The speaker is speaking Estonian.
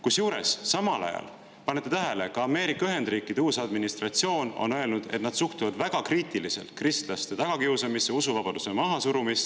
Kusjuures, samal ajal, panete tähele, ka Ameerika Ühendriikide uus administratsioon on öelnud, et nad suhtuvad väga kriitiliselt kristlaste tagakiusamisse, usuvabaduse mahasurumisse.